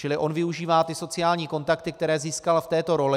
Čili on využívá ty sociální kontakty, které získal v této roli.